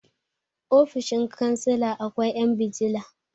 ofoshin kansila akwai 'yan bijila